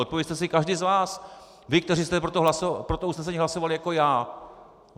Odpovězte si každý z vás, vy, kteří jste pro to usnesení hlasovali jako já.